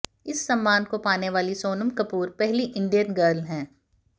इस सम्मान को पाने वाली सोनम कपूर पहली इंडियन गर्ल हैं